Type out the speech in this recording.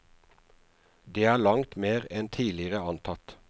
Det er langt mer enn tidligere antatt.